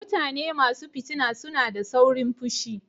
mutane masu fitina suna da sauron fushi.